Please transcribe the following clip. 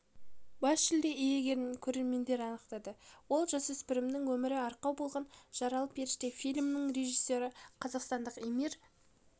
бас жүлде иегерін көрермендер анықтады ол жасөспірімдердің өмірі арқау болған жаралы періште фильмінің режиссері қазақстандық эмир